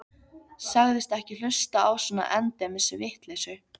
Sagðist ekki hlusta á svona endemis vitleysu.